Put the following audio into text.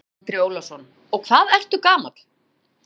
Andri Ólafsson: Og hvað ertu gamall?